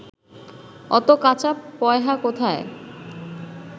অত কাঁচা পয়হা কোথায়